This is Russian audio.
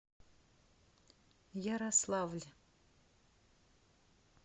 ярославль